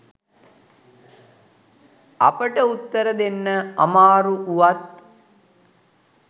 අපට උත්තර දෙන්න අමාරු වුවත්